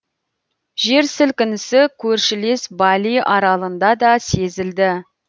жер сілкінісі көршілес бали аралында да сезілді